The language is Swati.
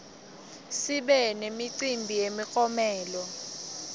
sibe nemicimbi yemiklomelo